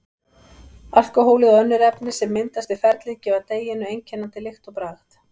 Alkóhólið og önnur efni sem myndast við ferlið gefa deiginu einkennandi lykt og bragð.